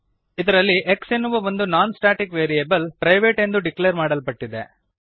ಇದರಲ್ಲಿ x ಎನ್ನುವ ಒಂದು ನೋನ್ ಸ್ಟಾಟಿಕ್ ವೇರಿಯಬಲ್ ಪ್ರೈವೇಟ್ ಎಂದು ಡಿಕ್ಲೇರ್ ಮಾಡಲ್ಪಟ್ಟಿದೆ